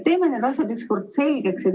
Teeme need asjad ükskord selgeks.